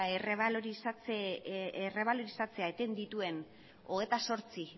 errebalorizatzea eten dituen hogeita zortzi